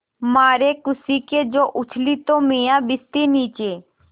मारे खुशी के जो उछली तो मियाँ भिश्ती नीचे